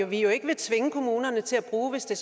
vi jo ikke vil tvinge kommunerne til at bruge hvis det